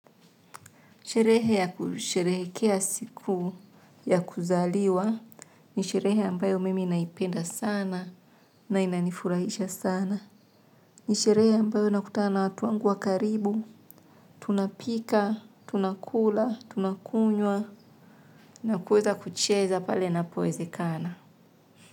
Sherehe ya kusherehekea siku ya kuzaliwa ni sherehe ambayo mimi naipenda sana na inanifurahisha sana. Ni sherehe ambayo nakutana na watu wangu wa karibu. Tunapika, tunakula, tunakunywa na kuweza kucheza pale napoezekana.